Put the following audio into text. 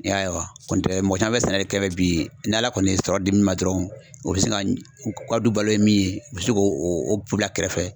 I y'a ye wa, kɔni tɛ mɔgɔ caman bɛ sɛnɛ de kɛ bi, n'ala kɔni ye sɔrɔ di min ma dɔrɔnw,o bɛ se ka u ka du balo ye min ye, u bɛ se k'o bila kɛrɛfɛ.